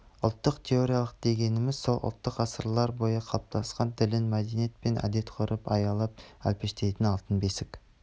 ұлттық территория дегенміз сол ұлттың ғасырлар бойы қалыптасқан тілін мәдениет мен әдет-ғұрпын аялап-әлпештейтн алтын бесік